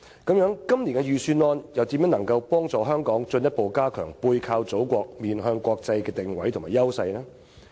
那麼，今年的預算案又是否能夠幫助香港進一步加強"背靠祖國，面向國際"的定位和優勢呢？